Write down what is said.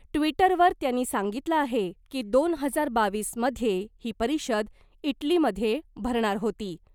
ट्वीटरवर त्यांनी सांगितलं आहे की , दोन हजार बावीस मध्ये ही परिषद इटलीमधे भरणार होती .